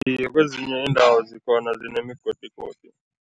Iye, kwezinye iindawo zikhona zinemigodigodi.